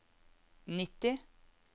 nitti